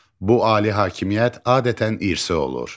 Bu ali hakimiyyət adətən irsi olur.